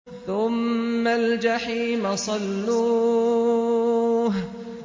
ثُمَّ الْجَحِيمَ صَلُّوهُ